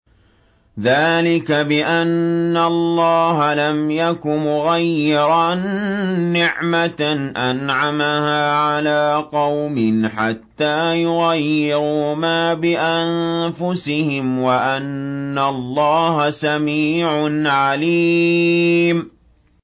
ذَٰلِكَ بِأَنَّ اللَّهَ لَمْ يَكُ مُغَيِّرًا نِّعْمَةً أَنْعَمَهَا عَلَىٰ قَوْمٍ حَتَّىٰ يُغَيِّرُوا مَا بِأَنفُسِهِمْ ۙ وَأَنَّ اللَّهَ سَمِيعٌ عَلِيمٌ